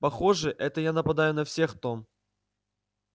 похоже это я нападаю на всех том